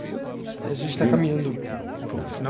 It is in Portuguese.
A gente está caminhando para o para o final.